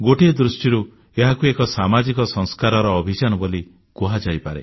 ଗୋଟିଏ ଦୃଷ୍ଟିରୁ ଏହାକୁ ଏକ ସାମାଜିକ ସଂସ୍କାରର ଅଭିଯାନ ବୋଲି କୁହାଯାଇପାରେ